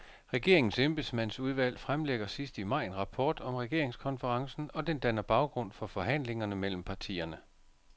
Regeringens embedsmandsudvalg fremlægger sidst i maj en rapport om regeringskonferencen, og den danner baggrund for forhandlingerne mellem partierne.